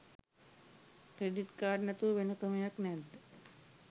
Credit card නැතුව වෙන ක්‍රමයක් නැද්ද?